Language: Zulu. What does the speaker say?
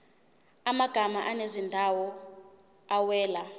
amagama ezindawo awela